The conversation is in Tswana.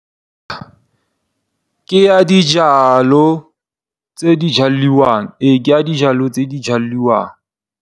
Ke ya dijalo tse di jalwang, ee ke ya dijalo tse di jalwang.